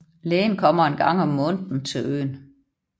Lægen kommer en gang om måneden til øen